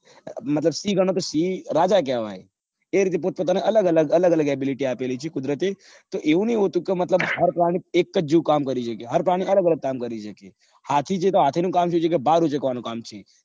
મતલબ સિંહ ગણો તો સિંહ રાજા કેવાય એ રીતે પોતપોત અલગ અલગ અલગ અલગ ability આપેલી છે કુદરતે એટલે એવું ઈ હોતું કે મતલબ હાર પ્રાણી એકજ જેવું કામ કરી શકે હાર પ્રાણી અલગ અલગ કામ કરી શકે હાથી જેવા હાથી નું કામ સુ છે કે ભારું સેકવાનું કામ છે